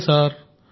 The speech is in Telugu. సరే సార్